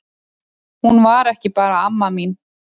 Hún var ekki bara amma mín.